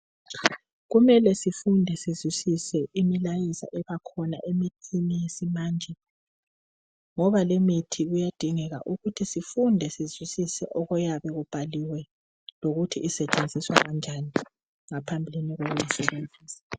Kumele sifunde sizwisise imilayeza ebakhona emithini yesimanje ngoba leyimithi kuyadingeka ukuthi sifunde sizwisise okuyabe kubhaliwe lokuthi isetshenziswa kanjani ngaphambi kokuwu sebenzisa.